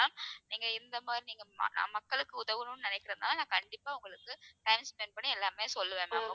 நீங்க இந்த மாதிரி நீங்க மக்களுக்கு உதவணும்னு நினைக்கிறதுனால நான் கண்டிப்பா உங்களுக்கு time spend பண்ணி எல்லாமே சொல்லுவேன் ma'am